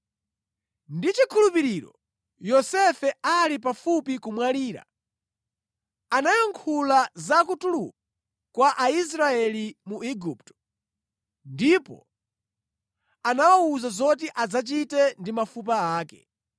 Ndi chikhulupiriro Yosefe ali pafupi kumwalira anayankhula za kutuluka kwa Aisraeli mu Igupto ndipo anawawuza zoti adzachite ndi mafupa ake.